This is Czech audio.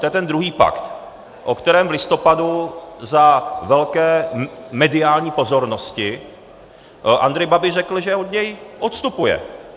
To je ten druhý pakt, o kterém v listopadu za velké mediální pozornosti Andrej Babiš řekl, že od něj odstupuje.